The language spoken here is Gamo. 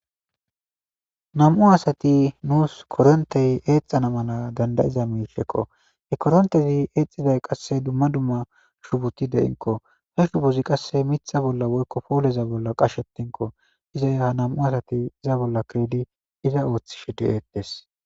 Nam'u asati nuus korontey eexxana mala dandayiza miifekko he korontezi eexxiday qasse dumma dumma shubuti de'inko he shubozi qasse mitha bolla woykko pooleza bolla qashetinko iza ya nam'u asati iza bolla kirdi iza ooththishi de'ettes.